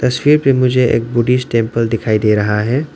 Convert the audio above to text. तस्वीर में मुझे एक बुद्धिस्ट टेंपल दिखाई दे रहा है।